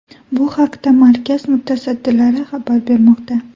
Bu haqda markaz mutasaddilari xabar bermoqda.